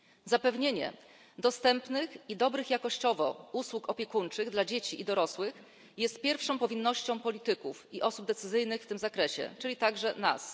Zapewnienie dostępnych i dobrych jakościowo usług opiekuńczych dla dzieci i dorosłych jest pierwszą powinnością polityków i osób podejmujących decyzje w tym zakresie, czyli także nas.